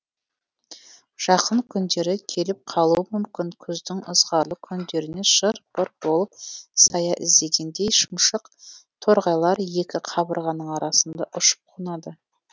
жақын күндері келіп қалуы мүмкін күздің ызғарлы күндерінен шыр пыр болып сая іздегендей шымшық торғайлар екі қабырғаның арасында ұшып қонады